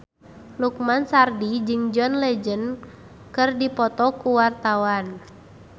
Lukman Sardi jeung John Legend keur dipoto ku wartawan